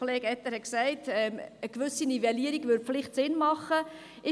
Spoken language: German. Kollege Etter hat gesagt, dass eine gewisse Nivellierung vielleicht Sinn machen würde.